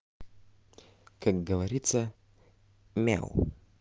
как говорится мяу